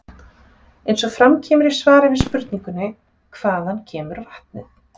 Eins og fram kemur í svari við spurningunni Hvaðan kemur vatnið?